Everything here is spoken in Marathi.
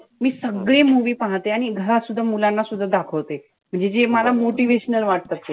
मी सगळे movie पाहते. आणि घरातसुद्धा मुलांना सुद्धा दाखवते. म्हणजे जे मला motivational वाटत असतात.